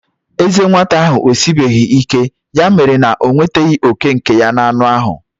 Ezé nwata ahụ esibeghị ike, ya mere na o nwetaghị òkè nke ya n'anụ ahụ.